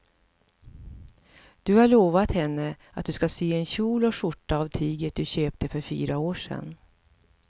Du har lovat henne att du ska sy en kjol och skjorta av tyget du köpte för fyra år sedan.